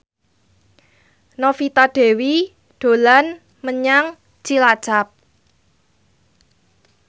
Novita Dewi dolan menyang Cilacap